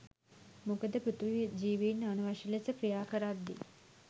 මොකද පෘථිවි ජීවීන් අනවශ්‍ය ලෙස ක්‍රියාකරද්දී